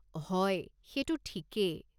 হয়, সেইটো ঠিকেই।